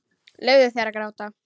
Leyfðu þér að gráta.